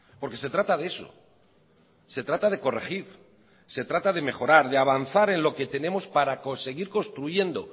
porque se trata de eso se trata de corregir se trata de mejorar de avanzar en lo que tenemos para conseguir construyendo